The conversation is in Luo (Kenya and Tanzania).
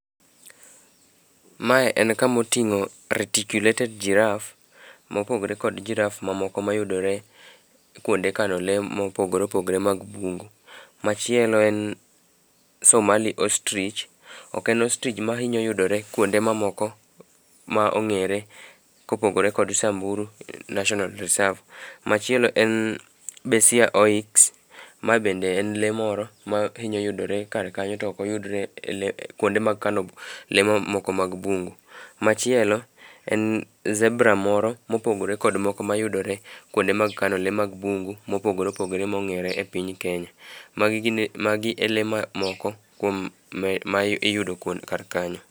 Mae en kamoting'o retticulated giraffe mopogore kod [cd]giraffe mamoko mayudore kwonde kano lee mopogore opogore mag bungu. Machielo en Somali Ostrich, ok en ostrich mahinyo yudore kwonde mamoko, ma ong'ere kopogore kod Samburu National Reserve. Machielo en Besia oryx. Ma bende en lee moro mahinyo yudore kar kanyo to ok oyudre kwonde mag kano lee mamoko mag bungu. Machielo en zebra moro mopogore kod moko mayudore kwonde mag kano lee mag bungu mopogore opogore mong'ere e piny Kenya. Magi e lee mamoko kuom ma iyudo kar kanyo.